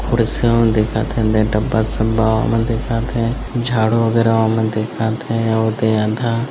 कुर्सियों दिखत हे दे डब्बा सब्बा ओ मन दिखत हे झाड़ू वग़ैरा ओ मन दिखत हे अउ ओदे आधा --